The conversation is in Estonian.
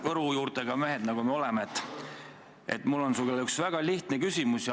Võru juurtega mehed, nagu me oleme, on mul sulle üks väga lihtne küsimus.